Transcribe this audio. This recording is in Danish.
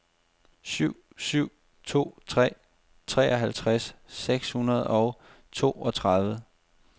syv syv to tre treoghalvtreds seks hundrede og toogtredive